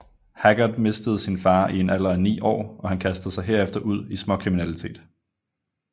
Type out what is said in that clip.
Haggard mistede sin far i en alder af ni år og han kastede sig herefter ud i småkriminalitet